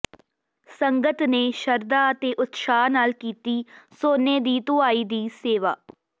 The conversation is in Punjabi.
ਸੰਗਤ ਨੇ ਸ਼ਰਧਾ ਤੇ ਉਤਸ਼ਾਹ ਨਾਲ ਕੀਤੀ ਸੋਨੇ ਦੀ ਧੁਆਈ ਦੀ ਸੇਵਾ